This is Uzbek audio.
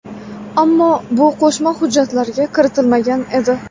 Ammo bu qo‘shma hujjatlarga kiritilmagan edi.